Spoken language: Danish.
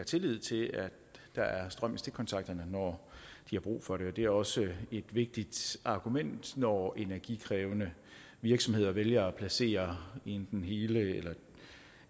tillid til at der er strøm i stikkontakterne når de har brug for det det er også et vigtigt argument når energikrævende virksomheder vælger at placere enten hele